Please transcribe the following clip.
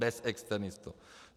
Bez externistů.